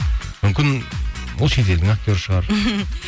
мүмкін ол шет елдің актеры шығар